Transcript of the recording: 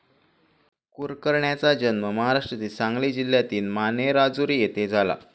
कुरकरण्याचा जन्म महाराष्ट्रातल्या सांगली जिल्ह्यातील मानेराजुरी येथे झाला.